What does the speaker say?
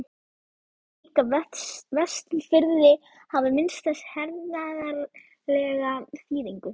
Hann taldi líka Vestfirði hafa minnsta hernaðarlega þýðingu.